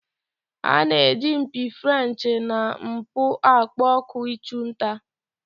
A na-eji mpi Frenchị na mbụ akpọ oku ịchụ nta.